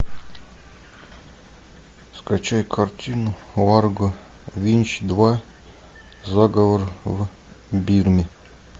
скачай картину ларго винч два заговор в бирме